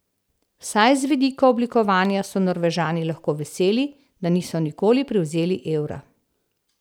Vsaj z vidika oblikovanja so Norvežani lahko veseli, da niso nikoli prevzeli evra.